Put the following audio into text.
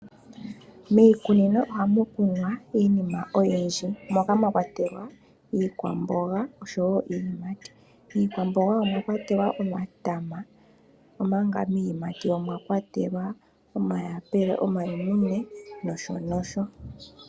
Miikunino ohamu kunwa iinima oyindji moka mwakwatelwa iikwamboga oshowoo iiyimati . Miikwamboga omwa kwatelwa omatama, omanga miiyimati omwakwatelwa omayapula, omalemune noshotuu.